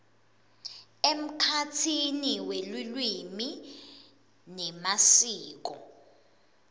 emkhatsini welulwimi nemasiko